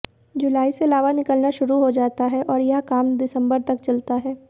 जुलाई से लावा निकलना शुरू हो जाता है और यह काम दिसंबर तक चलता है